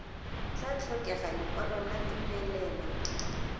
tla tlhokega lekwalo la tumelelo